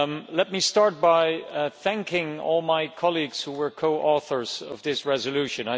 Let me start by thanking all my colleagues who were co authors of this resolution.